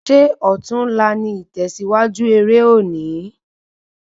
Ṣé ọtún la ní itẹsiwaju eré òní